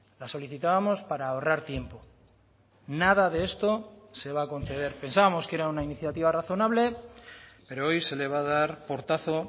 la solicitábamos para ahorrar tiempo nada de esto se va a conceder pensábamos que era una iniciativa razonable pero hoy se le va a dar portazo